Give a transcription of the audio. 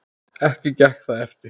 Ekki gekk það eftir.